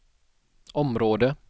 område